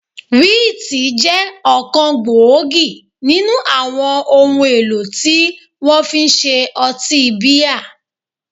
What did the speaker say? Wíìtì jẹ́ ọ̀kan gbòógì nínú àwọn ohun èlò tí wọ́n fi ń ṣe ọtí bíà